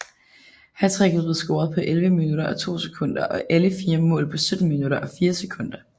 Hattricket blev scoret på 11 minutter og 2 sekunder og alle fire mål på 17 minutter og 4 sekunder